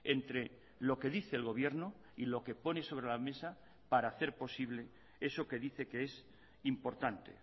entre lo que dice el gobierno y lo que pone sobre la mesa para hacer posible eso que dice que es importante